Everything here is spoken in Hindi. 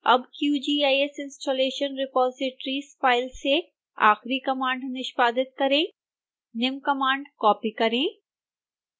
अब qgis installation repositories फाइल से आखिरी कमांड निष्पादित करें निम्न कमांड कॉपी करें